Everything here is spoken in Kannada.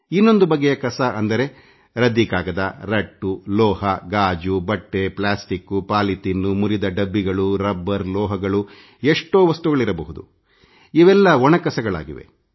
ಎರಡನೇ ಬಗೆಯ ಕಸ ಅಂದರೆ ಹಳೆಯ ದಿನ ಪತ್ರಿಕೆ ದಪ್ಪ ಹಾಳೆ ಕಬ್ಬಿಣ ಗಾಜು ಬಟ್ಟೆ ಪ್ಲಾಸ್ಟಿಕ್ ಪಾಲಿಥಿನ್ ಮುರಿದ ಡಬ್ಬಗಳು ರಬ್ಬರ್ ಲೋಹಗಳು ಎಷ್ಟೋ ವಸ್ತುಗಳಿರಬಹುದು ಇವೆಲ್ಲ ಒಣ ಕಸಗಳಾಗಿವೆ